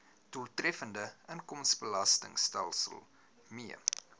doeltreffende inkomstebelastingstelsel mee